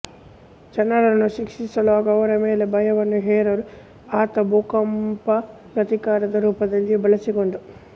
ಜನರನ್ನು ಶಿಕ್ಷಿಸಲು ಹಾಗೂ ಅವರ ಮೇಲೆ ಭಯವನ್ನು ಹೇರಲು ಆತ ಭೂಕಂಪವನ್ನು ಪ್ರತೀಕಾರದ ರೂಪದಲ್ಲಿಯೂ ಬಳಸಿಕೊಂಡ